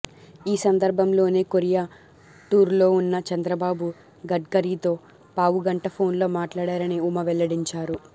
ఈ సందర్భంలోనే కొరియా టూర్లోవున్న చంద్రబాబు గడ్కరీతో పావుగంట ఫోన్లో మాట్లాడారని ఉమ వెల్లడించారు